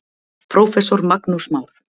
Prófessor Magnús Már